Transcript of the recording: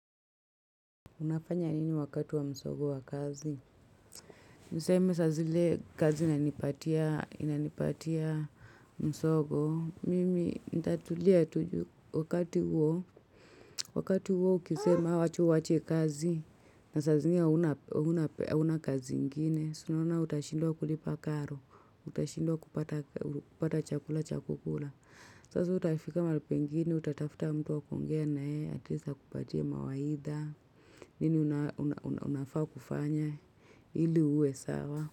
Unapanya nini wakatu wa msongo wa kazi? Niseme saa zile kazi inanipatia msongo. Mimi nintatulia tu juu wakati huo. Wakati huo ukisema watu waache kazi. Na saa zile hauna kazi ingine. Si unaona utashindwa kulipa karo. Utashindwa kupata chakula cha kukula. Sasa utafika mahali pengine utatafuta mtu wa kuongea na yeye. Ati least akupatiie mawaidha. Nini unafaa kufanya ili uwe sawa.